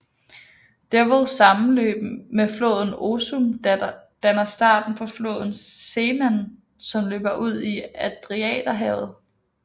Devolls sammenløb med floden Osum danner starten på floden Seman som løber ud i Adriaterhavet